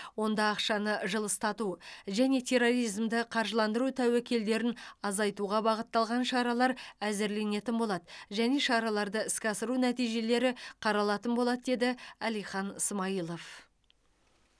онда ақшаны жылыстату және терроризмді қаржыландыру тәуекелдерін азайтуға бағытталған шаралар әзірленетін болады және шараларды іске асыру нәтижелері қаралатын болады деді әлихан смайылов